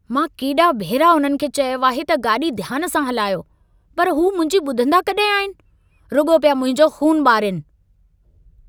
मां केॾा भेरा उन्हनि खे चयो आहे त गाॾी ध्यान सां हलायो, पर हू मुंहिंजी ॿुधंदा कॾहिं आहिनि। रुॻो पिया मुंहिंजो ख़ून ॿारिनि।